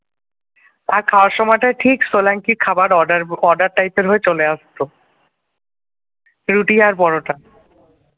আর খাবার সময়টা ঠিক সোলাঙ্কির খাবার order order type র হয়ে চলে আসতো রুটি আর পরোটা।